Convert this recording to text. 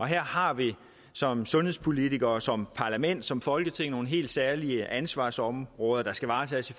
her har vi som sundhedspolitikere som parlament som folketing nogle helt særlige ansvarsområder der skal varetages